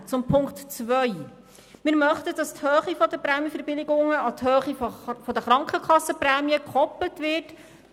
Zu Punkt 2: Wir möchten, dass die Höhe der Prämienverbilligungen mit der Höhe der Krankenkassenprämien gekoppelt wird.